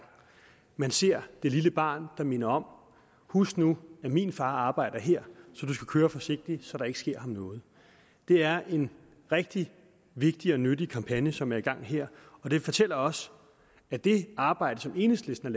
man ser det lille barn der minder om husk nu at min far arbejder her så du skal køre forsigtigt så der ikke sker ham noget det er en rigtig vigtig og nyttig kampagne som er i gang her og det fortæller også at det arbejde som enhedslisten